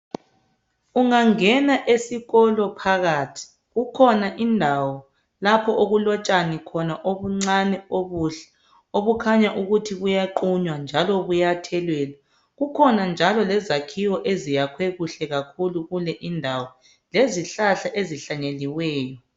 Ungangena esikolo phakathi kukhona indawo lapho okulotshani khona obuncani obuhle obukhanya ukuthi buyaqunywa njalo buyathelelwa; kukhona njalo lezakhiwo eziyakhwe kuhle kakhulu kule indawo lezihlahla ezihlanyeliweyo.